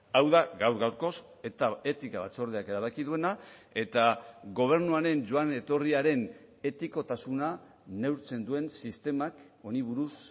hau da gaur gaurkoz eta etika batzordeak erabaki duena eta gobernuaren joan etorriaren etikotasuna neurtzen duen sistemak honi buruz